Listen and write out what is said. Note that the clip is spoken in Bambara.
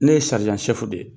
Ne ye de ye.